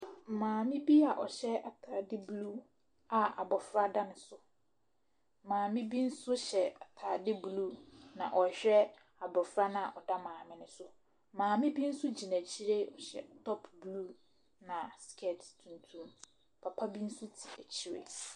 Maame bi a ɔhyɛ ataade blue a abɔfra da ne so, maame bi nso hyɛ ataade blue na ɔrehwɛ abɔfra no a ɔda maame ne so no. Maame bi nso gyina akyire na ɔhyɛ top blue na skirt tuntum, papa bi nso te akyire.